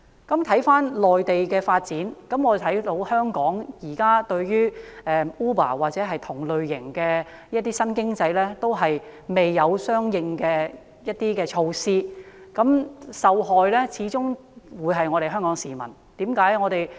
說畢內地的發展，相比之下，我們看到香港現在對於 Uber 或同類型的新興經濟，均未有相應的政策或措施，因而受害的始終是市民。